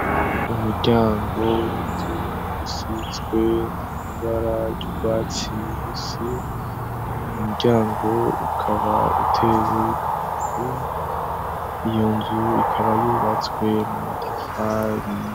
Umuryango w'inzu usizwe ibara ry'urwatsi rubisi, uyu muryango ukaba utewe ku nzu, iyo nzu ikaba yubatswe mu matafari.